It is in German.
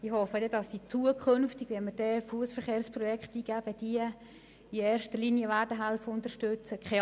Wenn wir zukünftig Fussverkehrsprojekte eingeben, hoffe ich, dass Sie diese dann in erster Linie unterstützen helfen.